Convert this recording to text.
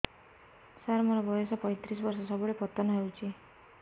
ସାର ମୋର ବୟସ ପୈତିରିଶ ବର୍ଷ ସବୁବେଳେ ପତନ ହେଉଛି